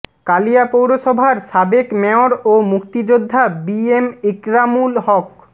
কালিয়া পৌরসভার সাবেক মেয়র ও মুক্তিযোদ্ধা বি এম ইকরামুল হক